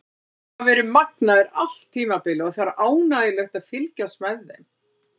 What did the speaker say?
Þeir hafa verið magnaðir allt tímabilið og það er ánægjulegt að fylgjast með þeim.